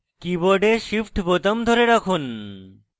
keyboard shift বোতাম ধরে রাখুন